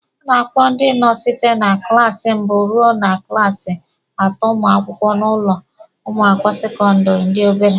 A na-akpọ ndị nọ site na klaasi mbụ ruo na klaasi atọ ụmụ akwụkwọ n'ụlọ akwụkwọ sekọndịrị ndị obere.